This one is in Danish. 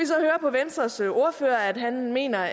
så høre på venstres ordfører at han mener